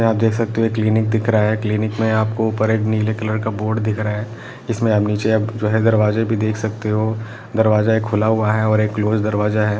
यहां आप देख सकते हो ये क्लिनिक दिख रहा है क्लिनिक में आपको ऊपर एक नीले कलर का बोर्ड दिख रहा है इसमें आप नीचे आप जो है दरवाजा भी देख सकते हो दरवाजा एक खुला हुआ है और एक क्लोज दरवाजा हैं।